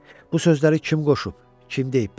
Bu sözləri kim qoşub, kim deyib belə?